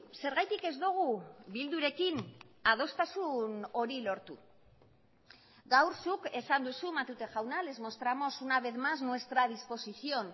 zergatik ez dugu bildurekin adostasun hori lortu gaur zuk esan duzu matute jauna les mostramos una vez más nuestra disposición